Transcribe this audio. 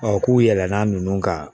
k'u yɛlɛma nunnu ka